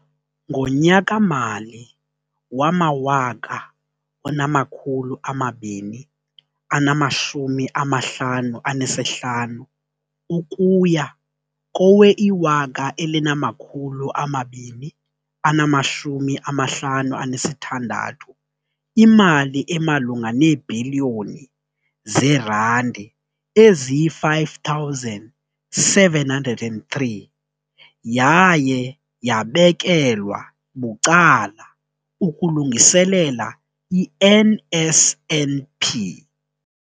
Ngonyaka-mali wama-2015 ukuya kowe-2016, imali emalunga neebhiliyoni zeerandi eziyi-5 703 yaye yabekelwa bucala ukulungiselela i-NSNP.